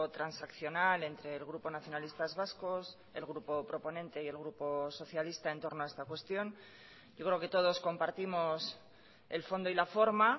transaccional entre el grupo nacionalistas vascos el grupo proponente y el grupo socialista en torno a esta cuestión yo creo que todos compartimos el fondo y la forma